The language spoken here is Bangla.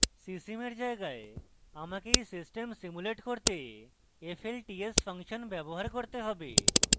csim এর জায়গায় আমাকে এই system simulate করতে flts ফাংশন ব্যবহার করতে have